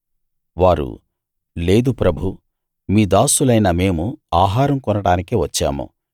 వారు లేదు ప్రభూ మీ దాసులైన మేము ఆహారం కొనడానికే వచ్చాము